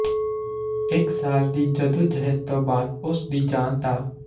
ਇਕ ਸਾਲ ਦੀ ਜੱਦੋ ਜਹਿਦ ਤੋਂ ਬਾਅਦ ਉਸ ਦੀ ਜਾਨ ਤਾਂ